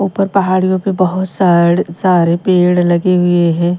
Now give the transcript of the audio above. ऊपर पहाड़ियों पर बहुत सारे सारे पेड़ लगे हुए हैं।